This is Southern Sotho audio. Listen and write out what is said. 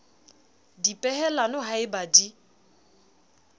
dipehelano ha e ba di